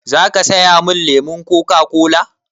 Za ka saya min lemon Coca-cola?